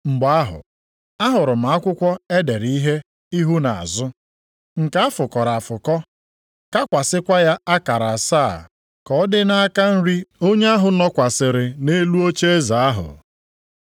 Mgbe ahụ, ahụrụ m akwụkwọ e dere ihe ihu na azụ, nke a fụkọrọ afụkọ, kakwasịkwa ya akara asaa, ka ọ dị nʼaka nri onye ahụ nọkwasịrị nʼelu ocheeze ahụ.